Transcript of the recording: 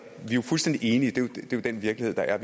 jo fuldstændig enige i det er den virkelighed der er